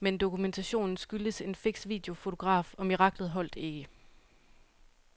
Men dokumentationen skyldtes en fiks videofotograf, og miraklet holdt ikke.